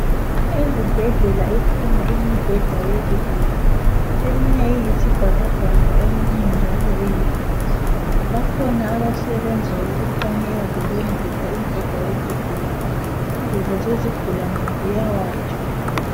Ezibhedlela ikhona imibheda yezigulane eminye iyisibhakabhaka eminye njalo iyi girini bakhona abasebenza ukuthanyela lokwedlula imibheda yezigulani. Ingubo zezigulane ziyawatsha.